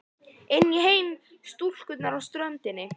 Inn í heim stúlkunnar á ströndinni.